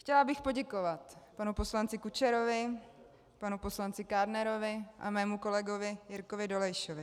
Chtěla bych poděkovat panu poslanci Kučerovi, panu poslanci Kádnerovi a mému kolegovi Jirkovi Dolejšovi.